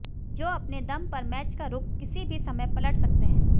जो अपने दम पर मैच का रुख किसी भी समय पलट सकते हैं